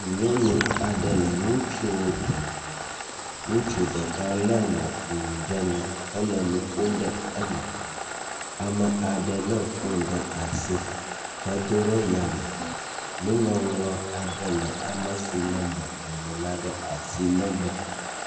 Nyɔnu aɖe le ŋutsuwo dome. Ŋutsu ɖeka le mɔƒonu ɖe nu hele nu ƒom ɖe eme. Ame aɖe le foni ɖe asi hedo ɖe yame. Nuŋɔŋlɔ aɖe le ame si le mɔƒonu la ɖe asi megbe.